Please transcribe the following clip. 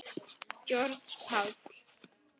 Georg Páll.